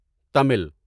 Tamil